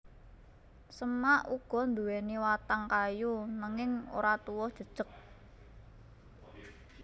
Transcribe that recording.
Semak uga nduwèni watang kayu nanging ora tuwuh jejeg